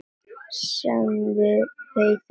Sem við veiðum sko?